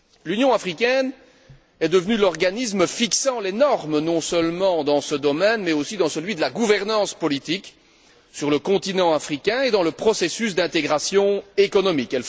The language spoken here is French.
L'Union africaine est devenue l'organisme fixant les normes non seulement dans ce domaine, mais aussi dans celui de la gouvernance politique, sur le continent africain et dans le processus d'intégration économique.